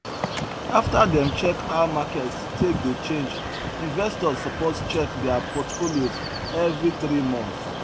after dem check how market take dey change investors suppose check their portfolios every three months